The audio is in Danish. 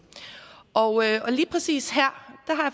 og lige præcis her